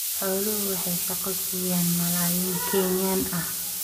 Xooluhu waxay shaqo siiyaan malaayiin Kenyan ah.